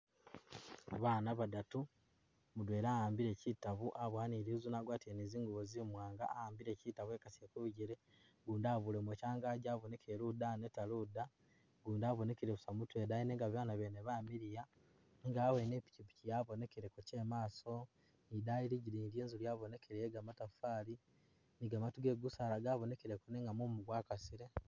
Baana badatu mudwela awambile kyitabo abowa ni lizune agwatile ni zingubo zimwanga awambile kyitabo ekasile kubigele gundi abulemo kyangaji abonekele luda aneta luda gundi abonekele busa mutwe idaayi nenga baana bene bamiliya nenga awene ipikyipikyi yabonekeleko kyemaaso idaayi lidigiyi lwenzu lwa’bonekeleye yegamatafali ni gamatu ge gusaala gabonekele nenga mumu gwakasile.